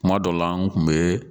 Kuma dɔw la an kun be